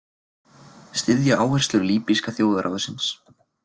Styðja áherslur Líbíska þjóðarráðsins